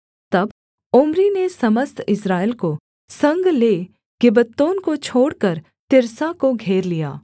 तब ओम्री ने समस्त इस्राएल को संग ले गिब्बतोन को छोड़कर तिर्सा को घेर लिया